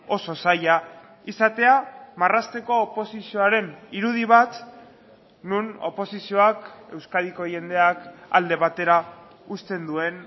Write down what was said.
oso zaila izatea marrazteko oposizioaren irudi bat non oposizioak euskadiko jendeak alde batera uzten duen